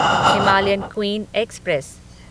Himalayan Queen express